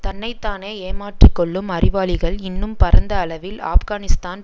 தன்னை தானே ஏமாற்றி கொள்ளும் அறிவாளிகள் இன்னும் பரந்த அளவில் ஆப்கானிஸ்தான்